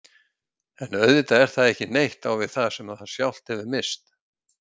En auðvitað er það ekki neitt á við það sem það sjálft hefur misst.